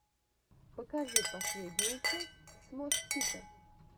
покажи последнюю часть смош пита